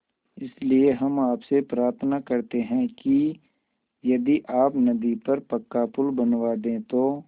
इसलिए हम आपसे प्रार्थना करते हैं कि यदि आप नदी पर पक्का पुल बनवा दे तो